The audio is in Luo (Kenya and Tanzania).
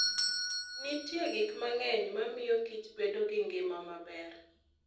Nitie gik mang'eny ma miyo kich bedo gi ngima maber.